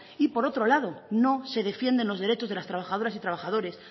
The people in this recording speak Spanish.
y por otro lado no se defienden los derechos de las trabajadoras y trabajadores